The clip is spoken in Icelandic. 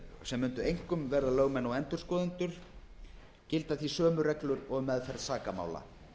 sem mundu einkum vera lögmenn og endurskoðendur gilda því sömu reglur og um meðferð sakamála